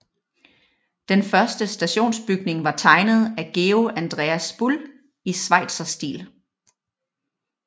Den første stationsbygning var tegnet af Georg Andreas Bull i schweizerstil